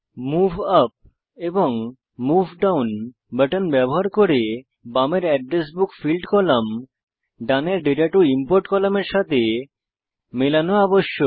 move up এবং move down button ব্যবহার করে বামের অ্যাড্রেস বুক ফিল্ড কলাম ডানের দাতা টো ইমপোর্ট কলামের সাথে মেলানো আবশ্যক